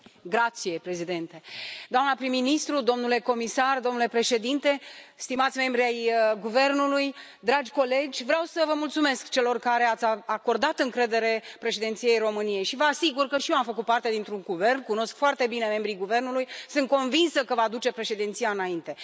Domnule președinte, doamnă prim ministru, domnule comisar, stimați membri ai guvernului, dragi colegi, vreau să vă mulțumesc, celor care ați acordat încredere Președinției României. Vă asigur că și eu am făcut parte dintr un guvern, cunosc foarte bine membrii Guvernului, sunt convinsă că acesta va duce Președinția înainte.